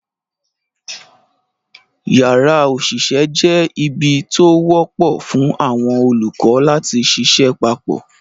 Yàrá òṣìṣẹ́ jẹ́ ibi tó wọ́pọ̀ fún àwọn olùkọ́ láti ṣiṣẹ́ papọ̀